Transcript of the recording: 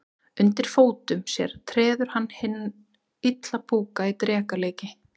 Undir fótum sér treður hann hinn illa púka í dreka líki.